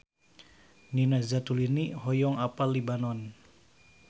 Nina Zatulini hoyong apal Libanon